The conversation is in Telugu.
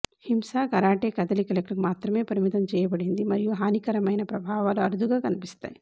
హింస కరాటే కదలికలకు మాత్రమే పరిమితం చేయబడింది మరియు హానికరమైన ప్రభావాలు అరుదుగా కనిపిస్తాయి